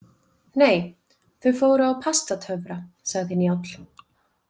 Nei, þau fóru á Pastatöfra, sagði Njáll.